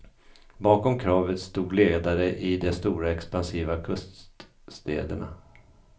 Bakom kravet stod ledare i de stora expansiva kuststäderna.